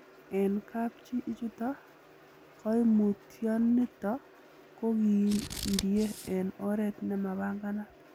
En kapchi ichuton, koimutioniton kokindie en oret nemapanganat.